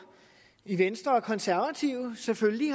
i venstre og konservative selvfølgelig